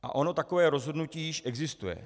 A ono takové rozhodnutí již existuje.